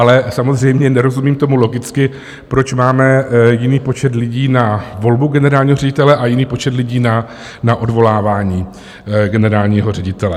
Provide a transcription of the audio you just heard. Ale samozřejmě nerozumím tomu logicky, proč máme jiný počet lidí na volbu generálního ředitele a jiný počet lidí na odvolávání generálního ředitele.